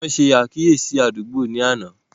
Wọn ṣe àkíyèsí àdúgbò ni àná